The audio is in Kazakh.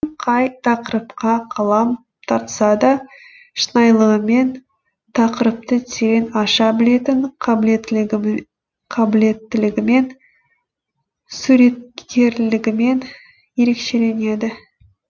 қай тақырыпқа қалам тартса да шынайылығымен тақырыпты терең аша білетін қабілеттілігімен суреткерлігімен ерекшеленеді